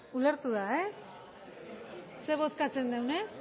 ulertu da zer bozkatzen dugun ez